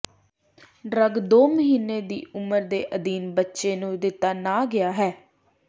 drug ਦੋ ਮਹੀਨੇ ਦੀ ਉਮਰ ਦੇ ਅਧੀਨ ਬੱਚੇ ਨੂੰ ਦਿੱਤਾ ਨਾ ਗਿਆ ਹੈ